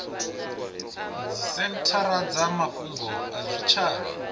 dzisenthara dza mafhungo a zwitshavha